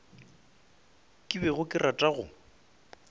ke bego ke rata go